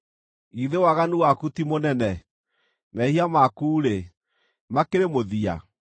Githĩ waganu waku ti mũnene? Mehia maku-rĩ, makĩrĩ mũthia?